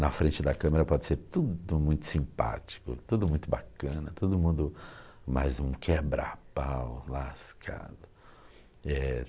Na frente da câmera pode ser tudo muito simpático, tudo muito bacana, todo mundo mais um quebra-pau, lascado. Eh...